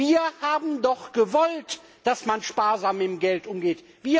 Wir haben doch gewollt, dass man sparsam mit dem Geld umgeht.